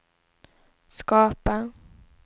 skapa